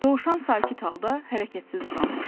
Dovşan sakit halda hərəkətsiz uzanmışdı.